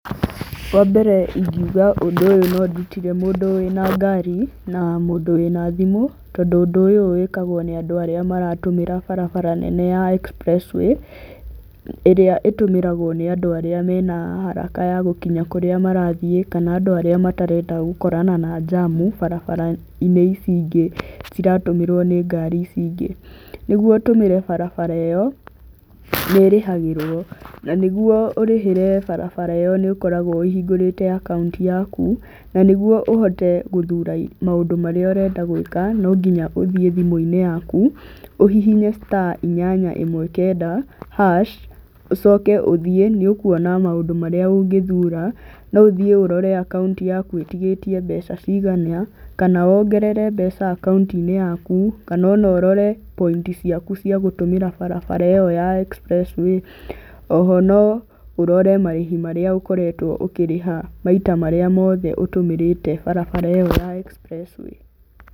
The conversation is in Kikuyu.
Wa mbere ingiuga ũndũ ũyũ no ndũtire mũndũ wĩ na ngari na mũndũ wĩ na thimũ tondũ ũndũ ũyũ wĩkagwo nĩ andũ arĩa maratũmĩra barabara ya nene ya express way, ĩrĩa ĩtũmĩragwo nĩ andũ arĩmeha haraka ya gũkĩnya kũrĩa marathiĩ kana andũ arĩa matarenda gũkorana na njamu barabara-inĩ ici ingĩ citatũmĩrwo nĩ ngari ici ingĩ. Nĩguo ũtũmĩre barabara ĩyo nĩĩrĩhagĩrwo na nĩguo ũrĩhĩre barabara ĩ yo nĩũkoragwo ũhingũrĩte akaunti yaku na nĩguo ũhote gũthura maũndũ marĩa ũrendeta no nginya uthiĩ thimũ-inĩ yaku ũhĩhĩnye star inyanya ĩmwe kanda hash ũcoke ũthiĩ nĩ ũkuona maũndũ marĩa ũngĩthura. No ũthiĩ ũrore akaũnti yaku itigĩtie mbeca cigana, kana wongerere mbeca akaunti-inĩ yaku kana o norore points ciaku ciagũtũmĩra bara ĩ yo ya Express way. Oho no ũrore marĩhi marĩa ũkoretwo ũkĩrĩha maita marĩa mothe ũtũmĩrĩte bara ĩyo ya express way.